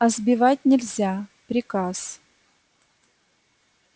а сбивать нельзя приказ